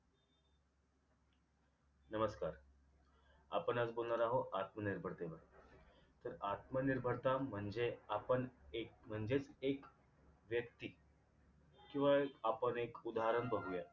नमस्कार आपण आज बोलणार आहोत आत्मनिर्भरते तर आत्मनिर्भरता म्हणजे आपण एक म्हणजेच एक व्यक्ती किंवा आपण एक उदाहरण बघूया